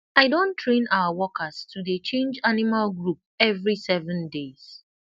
i don train our workers to dey change animal group every seven days